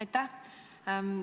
Aitäh!